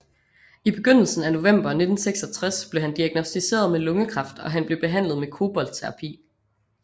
I begyndelsen af november 1966 blev han diagnosticeret med lungekræft og han blev behandlet med koboltterapi